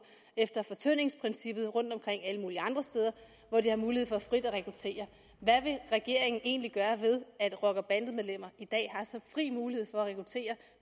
efter fortyndingsprincippet rundtomkring alle mulige andre steder hvor de har mulighed for frit at rekruttere hvad vil regeringen egentlig gøre ved at rockerbandemedlemmer i dag har så fri mulighed for at rekruttere